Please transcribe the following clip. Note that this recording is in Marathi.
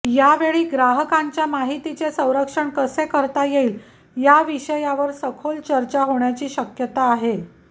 यावेळी ग्राहकांच्या माहितीचे संरक्षण कसे करता येईल या विषयावर सखोल चर्चा होण्याची शक्यता आहे